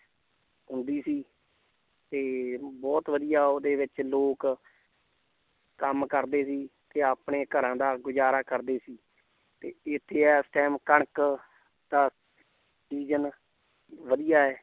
ਹੁੰਦੀ ਸੀ ਤੇ ਬਹੁਤ ਵਧੀਆ ਉਹਦੇ ਵਿੱਚ ਲੋਕ ਕੰਮ ਕਰਦੇ ਸੀ ਤੇ ਆਪਣੇ ਘਰਾਂ ਦਾ ਗੁਜ਼ਾਰਾ ਕਰਦੇ ਸੀ ਤੇ ਇੱਥੇ ਇਸ time ਕਣਕ ਦਾ season ਵਧੀਆ ਹੈ।